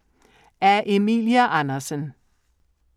Af Emilie Andersen